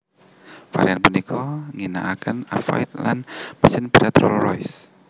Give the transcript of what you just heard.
Varian punika ngginaaken avionik lan mesin Barat Rolls Royce